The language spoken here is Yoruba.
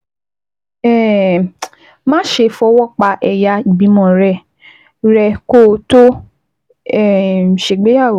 um má ṣe máa fọwọ́ pa ẹ̀yà ìbímọ rẹ rẹ́ kó o tó um ṣègbéyàwó